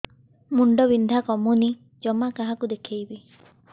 ମୁଣ୍ଡ ବିନ୍ଧା କମୁନି ଜମା କାହାକୁ ଦେଖେଇବି